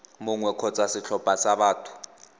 mongwe kgotsa setlhopha sa batho